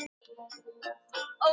Þetta var bara arfaslakt, mjög dapurt.